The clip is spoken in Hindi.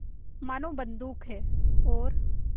मानो बंदूक है और